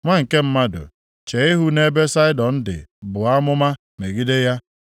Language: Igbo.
“Nwa nke mmadụ, chee ihu nʼebe Saịdọn dị buo amụma megide ya,